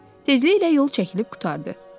Tezliklə yol çəkilib qurtardı.